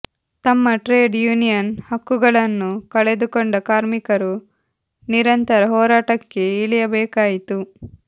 ತಮ್ಮ trade union ಹಕ್ಕುಗಳನ್ನು ಕಳೆದುಕೊಂಡ ಕಾರ್ಮಿಕರು ನಿರಂತರ ಹೋರಾಟಕ್ಕೆ ಇಳಿಯಬೇಕಾಯಿತು